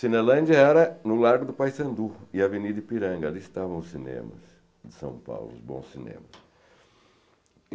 Cinelândia era no Largo do Paissandu e Avenida Ipiranga, ali estavam os cinemas de São Paulo, os bons cinemas.